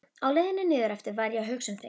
Á leiðinni niðureftir var ég að hugsa um þig.